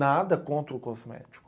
Nada contra o cosmético.